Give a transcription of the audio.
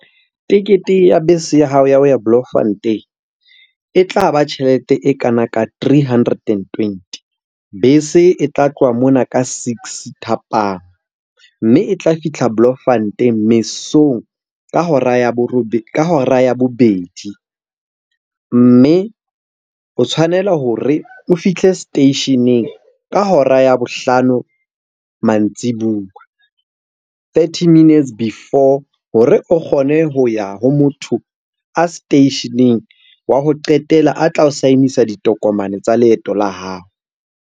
Tekete ya bese ya hao ya ho ya Bloemfontein e tla ba tjhelete e kana ka three hundred and twenty. Bese e tla tloha mona ka six thapama, mme e tla fitlha Bloemfontein mesong ka hora ya bobedi. Mme o tshwanela hore o fihle seteisheneng ka hora ya bohlano mantsibuya. Thirty minutes before hore o kgone ho ya ho motho a seteisheneng wa ho qetela a tla o sign-isa ditokomane tsa leeto la hao.